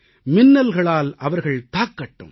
மின்னல்களால் அவர்கள் தாக்கட்டும்